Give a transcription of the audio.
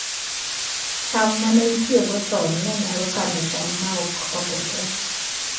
cham ma ne itiyogo chon ne nyalo kano cham ma ok okethore